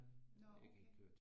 Nå okay